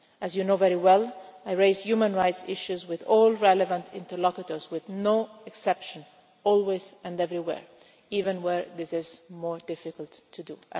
As you know very well, I raise human rights issues with all relevant interlocutors with no exception, always and everywhere, even where this is more difficult to do.